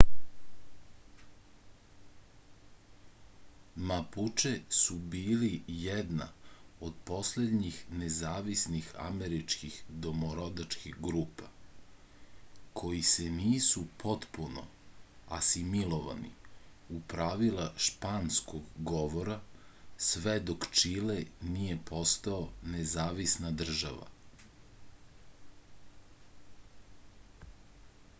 mapuče su bili jedna od poslednjih nezavisnih američkih domorodačkih grupa koji se nisu potpuno asimilovani u pravila španskog govora sve dok čile nije postao nezavisna država